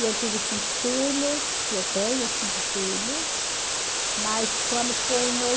E eu tive cinco filhos, eu tenho cinco filhos, mas quando foi em